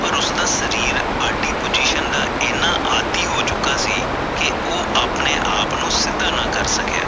ਪਰ ਉਸਦਾ ਸ਼ਰੀਰ ਆਦੀ Position ਦਾ ਇਹਨਾਂ ਆਦਿ ਹੋ ਚੁੱਕਾ ਸੀ ਕਿ ਉਹ ਅਪਣੇ ਆਪ ਨੂੰ ਸਿੱਧਾ ਨਾ ਕਰ ਸਕਿਆ